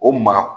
O maa